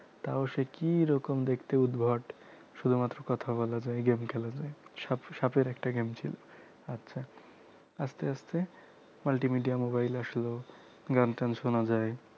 তাও সে কি রকম দেখতে উদ্ভট শুধুমাত্র কথা বলা যায় game খেলা যায় সাপ সাপের একটা game ছিল আচ্ছা আস্তে আস্তে multimedia mobile আসলো গানটান শোনা যায়